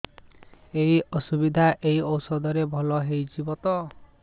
ଏଇ ଅସୁବିଧା ଏଇ ଔଷଧ ରେ ଭଲ ହେଇଯିବ ତ